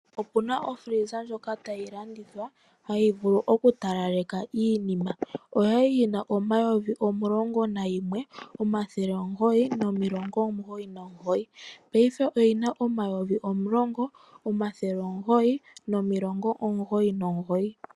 Opuna okila yoku talaleka ndjoka tayi landithwa hayi vulu okutalaleka iinima. Oyali yi na N$ 11 999.00 ashike paife oyi na N$ 10 999.00